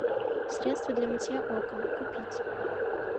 средство для мытья окон купить